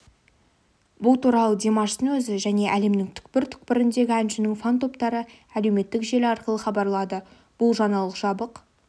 бұл туралы димаштың өзі және әлемнің түкпір-түкпіріндегі әншінің фан-топтары әлеуметтік желі арқылы хабарлады бұл жаңалық жабық